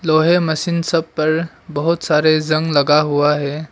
लोहे मशीन सब पर बहुत सारे जंग लगा है।